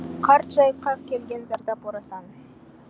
қарт жайыққа келген зардап орасан